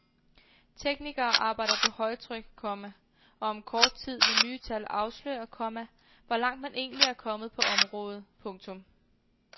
Teknikere arbejder på højtryk, komma og om kort tid vil nye tal afsløre, komma hvor langt man egentlig er kommet på området. punktum